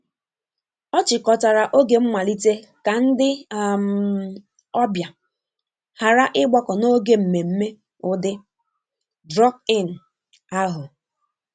Ọ chịkọtara oge mmalite ka ndị um ọbịa ghara ịgbakọ n'oge mmemme ụdị 'drop-in'ahu.